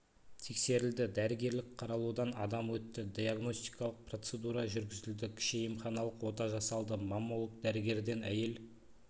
тексерілді дәрігерлік қаралудан адам өтті диагностикалық процедура жүргізілді кіші емханалық ота жасалды маммолог дәрігерден әйел